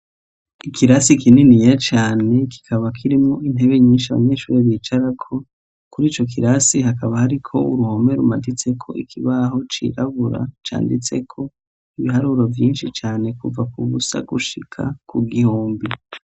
Ikirasi kininiya cane kikaba kirimwo intebe nyinshi abanyeshure bicarako, kuri ico kirasi hakaba hariko uruhome rumaditseko ikibaho cirabura canditseko ibiharuro vyinshi cane kuva k'ubusa gushika ku gihumbi.